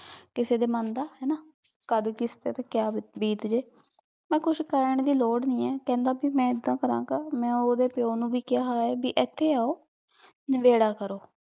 ਕਿਸੇ ਦੇ ਮਨ ਦਾ ਕਦ ਕਿਸੇ ਤੇ ਕਿਆ ਬੀਤ ਜੇ ਏਨਾ ਕੁਛ ਕਹਨ ਦੀ ਲੋਰ ਨਹੀ ਆਯ ਕਹੰਦਾ ਭੀ ਮੈਂ ਏਦਾਂ ਕਰਨ ਗਾ ਮੈਂ ਓਹਦੇ ਪਾਯੋ ਨੂ ਵੀ ਕੇਹਾ ਆਯ ਭੀ ਏਥੇ ਆਓ ਨਾਬੇਰਾ ਆਕ੍ਰੋ